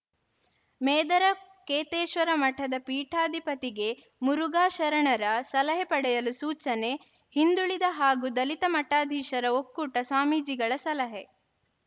ಮೇದರ ಕೇತೇಶ್ವರ ಮಠದ ಪೀಠಾಧಿಪತಿಗೆ ಮುರುಘಾ ಶರಣರ ಸಲಹೆ ಪಡೆಯಲು ಸೂಚನೆ ಹಿಂದುಳಿದ ಹಾಗೂ ದಲಿತ ಮಠಾಧೀಶರ ಒಕ್ಕೂಟದ ಸ್ವಾಮೀಜಿಗಳ ಸಲಹೆ